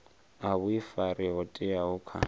a vhuifari ho teaho kha